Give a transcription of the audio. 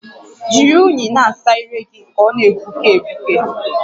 Jiri únyì na-asa ire gị ka ọ na-egbuke egbuke